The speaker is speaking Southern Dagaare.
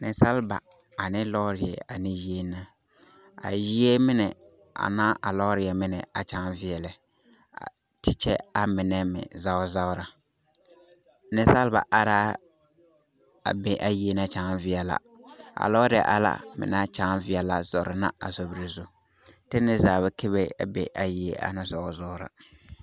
Nensalaba ane lɔɔreɛ ana yie na. A yie mine ane a lɔɔre mine a kyaa veɛlɛ te kyɛ amine meŋ zagere zagere. Nensalba are a a be a yie na kyãã veɛlɛ. a lɔɔre ala naŋ kyãã veɛlɛ zɔrɛ na sobiri zu te neɛ zaa be ka bie na a yie a na zɔzɔɔra.